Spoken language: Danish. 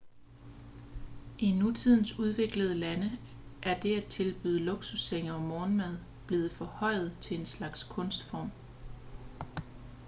i nutidens udviklede lande er det at tilbyde luksussenge og morgenmad blevet forhøjet til en slags kunstform